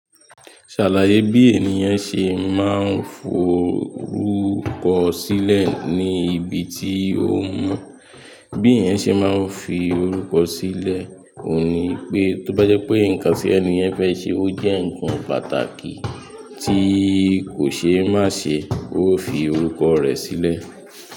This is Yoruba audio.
Ṣàlàyé bí ènìyàn ṣe máa ń forúkọ sílẹ̀ ní ibi tí ó ń mú. Bí ènìyàn ṣe máa ń fi orúkọ sílẹ̀ ò ní pé, tó bá jẹ́ pé nǹkan tí ènìyàn fẹ́ ṣe ó jẹ́ nǹkan pàtàkì tí kò ṣe é má ṣe, ó fi orúkọ rẹ̀ sílẹ̀.